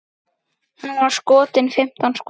Hann var skotinn fimmtán skotum.